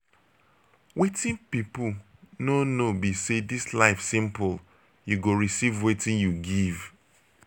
wetin people no know be say dis life simple you go receive wetin you give.